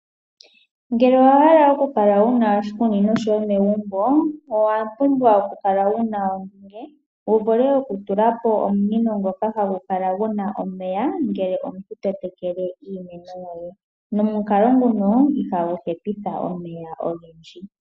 Ngele owa hala okukala wuna oshikunino shoye megumbo, owa pumbwa okukala wuna ondunge, wu vule oku tulapo omunino ngoka hagu kala guna omeya ngele to tekele omeya. Nomukalo nguno ihagu hepitha omeya ogendji.